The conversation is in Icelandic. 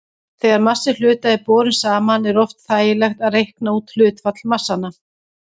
Þegar massi hluta er borinn saman er oft þægilegt að reikna út hlutfall massanna.